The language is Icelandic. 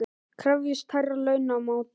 Krefjist hærri launa á móti